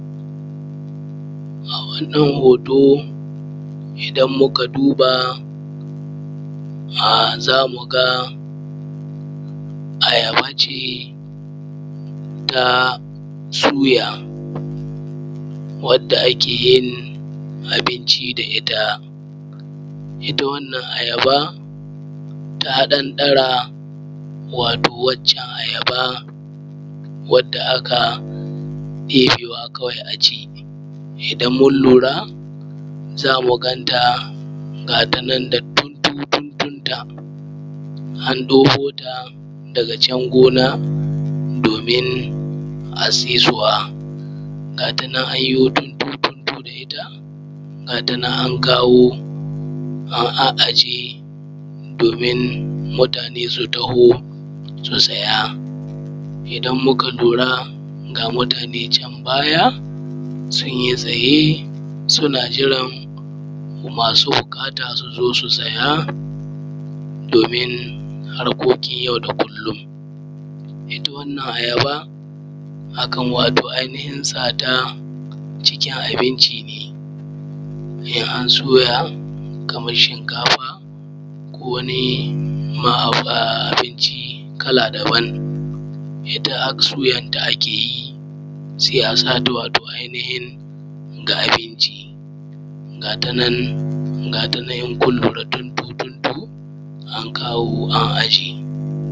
A wannan hoto idan muka duba zamuga um ayabaceta suya wadda akeyin abinci da itta. itta wannan ayaba wato ta ɗan ɗara wato waccan ayaba aka yebewa kawai aci. Idan mun lura zamu ganta gatana da dundu duɗin ta an ɗebota daga can gona domin a saisuwa. Gatanan anyo dududu da itta ga shinan an kawo an a’aje domin mutane su taho su siya. Idan muka lura ga mutane can baya sunyi tsaye suna jiranmasu buƙata suzo su siya domin harkokin yau da kullum, itta wannan aayaba akan wato ai nihin sata wato cikin abinci ne, in an soya Kaman shinkafa ko wani abinci kala daban, itta assuyan ta a keyi sai a sata wato ai nihin ga abinci gatanan gatanan inkun lura dundu dundu an kawo an aje.